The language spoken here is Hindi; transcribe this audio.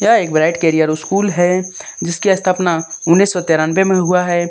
यह एक ब्राइट करियर स्कूल है जिसकी स्थापना उन्नीस सौ तिरानवे में हुआ है।